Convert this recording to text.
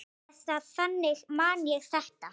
Eða þannig man ég þetta.